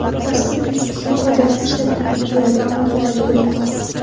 Dastur Facebook’dan foydalanish taklifini beradi, ammo bu majburiy emas.